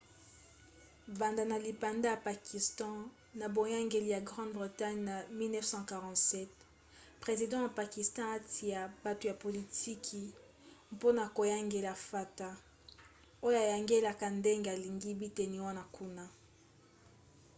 banda na lipanda ya pakistan na boyangeli ya grande bretagne na 1947 president ya pakistan atia bato ya politiki mpona koyangela fata oyo ayangelaka ndenge alingi biteni wana kuna